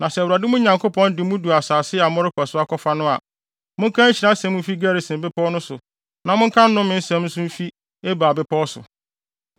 Na sɛ Awurade, mo Nyankopɔn, de mo du asase a morekɔ so akɔfa no a, monka nhyira nsɛm mfi Gerisim Bepɔw no so na monka nnome nsɛm nso mfi Ebal Bepɔw so.